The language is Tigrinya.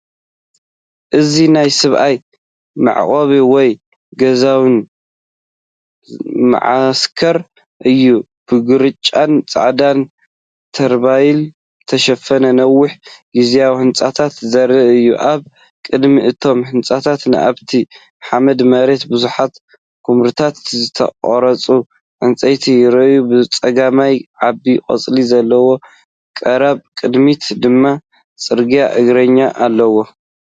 እዚ ናይ ሰብኣዊ መዕቆቢ ወይ ግዝያዊ መዓስከር እዩ። ብግራጭን ጻዕዳን ተርፖሊን ዝተሸፈኑ ነዊሕ ግዝያዊ ህንጻታት ዘርኢ እዩ። ኣብ ቅድሚ እቶም ህንጻታት ኣብቲ ሓመድ መሬት ብዙሓት ኵምራታት ዝተቖርጹ ዕንጨይቲ ይረኣዩ። ብጸጋም ዓቢ ቆጽሊ ዘለዎ ገረብ፡ብቕድሚት ድማ ጽርግያን እግረኛን ኣሎ።